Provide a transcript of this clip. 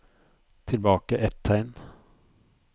Tilbake ett tegn